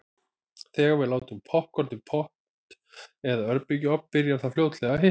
Þegar við látum poppkorn í pott eða örbylgjuofn byrjar það fljótlega að hitna.